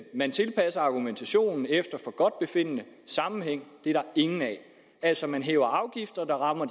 man tilpasser argumentationen efter forgodtbefindende sammenhæng er der ingen af altså man hæver afgifter der rammer